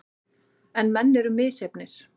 En menn eru misjafnir.